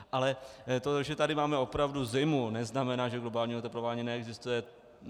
Ale to, že tady máme opravdu zimu, neznamená, že globální oteplování neexistuje.